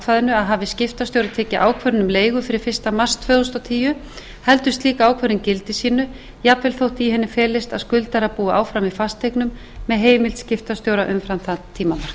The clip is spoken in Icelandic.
ákvæðinu að hafi skiptastjóri tekið ákvörðun um leigu fyrir fyrsta mars tvö þúsund og tíu haldi slík ákvörðun gildi sínu jafnvel þótt í henni felist að skuldari búi áfram í fasteignum með heimild skiptastjóra umfram þann tíma